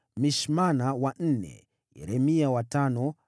Mishmana wa nne, Yeremia wa tano,